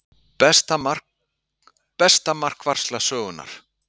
Besta markvarsla sögunnar?